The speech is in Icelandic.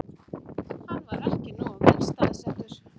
Hann var ekki nógu vel staðsettur